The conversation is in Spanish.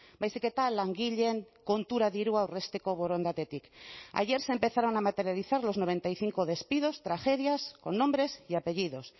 baizik eta langileen kontura dirua aurrezteko borondatetik ayer se empezaron a materializar los noventa y cinco despidos tragedias con nombres y apellidos